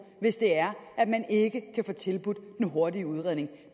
hvis det er at man ikke kan få tilbudt en hurtig udredning